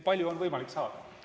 Palju on võimalik saada?